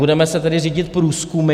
Budeme se tedy řídit průzkumy?